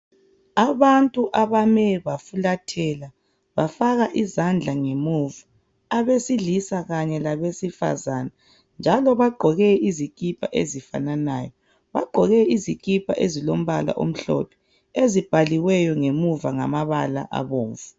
Abantu abame bafulathela bafaka izandla ngemuva abesilisa kanye labesifazana njalo bagqoke izikipa ezifananayo. Bagqoke izikipa ezilombala omhlophe elibhaliweyo ngemuva ngamabala abomvu.